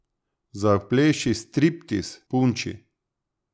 Zapleši striptiz, punči.